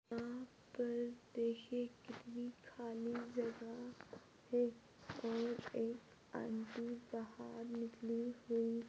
यहाँ पर देखिये कितनी खाली जगह है और एक आंटी बहार निकली हुई--